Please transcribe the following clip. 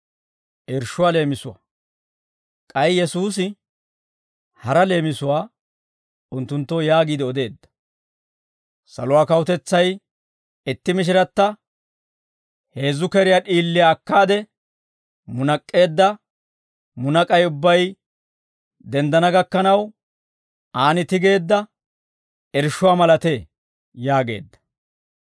K'ay Yesuusi hara leemisuwaa unttunttoo yaagiide odeedda; «Saluwaa kawutetsay itti mishiratta heezzu keriyaa d'iiliyaa akkaade, munak'k'eedda munak'ay ubbay denddana gakkanaw, aan tigeedda irshshuwaa malatee» yaageedda.